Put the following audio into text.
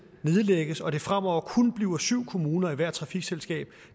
nedlægges og det fremover kun bliver syv kommuner i hvert trafikselskab